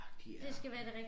Ja de er de